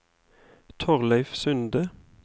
Thorleif Sunde